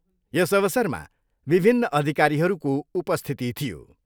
यस अवसरमा विभिन्न अधिकारीहरूको उपस्थिती थियो।